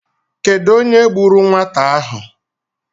Kedụ onye gburu nwata ahụ?